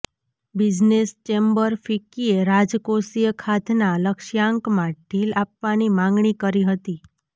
business chamber ફિક્કીએ રાજકોષીય ખાધના લક્ષ્યાંકમાં ઢીલ આપવાની માંગણી કરી હતી